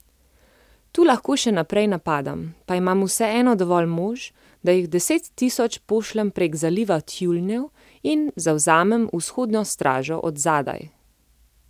Tu lahko še naprej napadam, pa imam vseeno dovolj mož, da jih deset tisoč pošljem prek Zaliva tjulnjev in zavzamem Vzhodno stražo od zadaj.